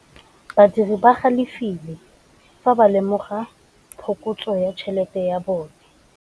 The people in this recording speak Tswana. Badiri ba galefile fa ba lemoga phokotsô ya tšhelête ya bone.